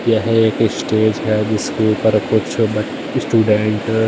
यह एक स्टेज है जिसके ऊपर कुछ ब स्टूडेंट --